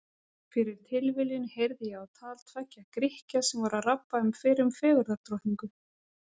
Fyrir tilviljun heyrði ég á tal tveggja Grikkja sem voru að rabba um fyrrum fegurðardrottningu.